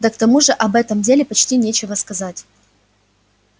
да к тому же об этом деле почти нечего сказать